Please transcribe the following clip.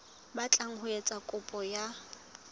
batlang ho etsa kopo ya